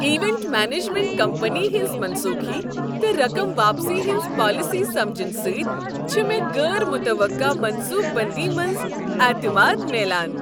Event management company ہنٛز منسوخی تہٕ رقم واپسی ہنٛزٕ پالیسیہٕ سمجنہٕ سۭتۍ چھ مےٚ غٲر متوقع منصوبہٕ بٔنٛدی منٛز اعتماد میٛلان۔